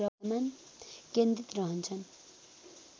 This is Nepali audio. केन्द्रित रहन्छन्